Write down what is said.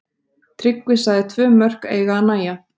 Tryggvi sagði tvö mörk eiga að nægja.